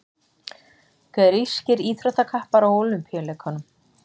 grískir íþróttakappar á ólympíuleikunum